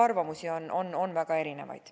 Arvamusi on väga erinevaid.